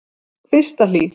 Kvistahlíð